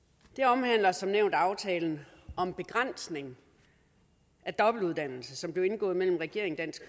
omhandler som nævnt aftalen om begrænsning af dobbeltuddannelse som blev indgået mellem regeringen dansk